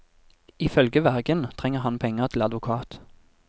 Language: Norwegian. Ifølge vergen trenger han penger til advokat.